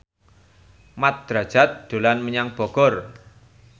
Mat Drajat dolan menyang Bogor